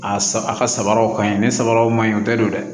A a ka sabaraw ka ɲi ni sabaraw ma o tɛ don dɛ